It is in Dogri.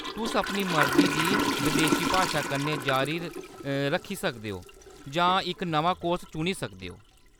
तुस अपनी मर्जी दी बदेशी भाशा कन्नै जारी रक्खी सकदे ओ जां इक नमां कोर्स चुनी सकदे ओ।